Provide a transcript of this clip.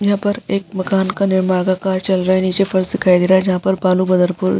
जहां पर एक मकान का निर्माण का कार्य चल रहा है। नीचे फर्श दिखाई दे रहा है जहां पर बालू बदरपुर --